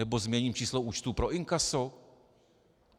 Nebo změním číslo účtu pro inkaso?